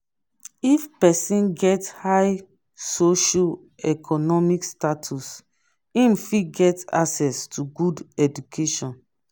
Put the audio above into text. if persin get high socio-economic status im fit get access to good education